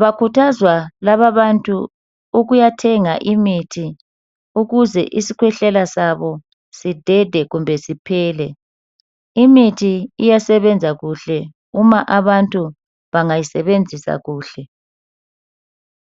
bakhuthazwa lababantu ukuyathenga imithi ukuthi isikhwehlela sabo sidede kumbe siphele. Imithi iyasebenza kuhle uma abantu bangayisebenzisa kuhle.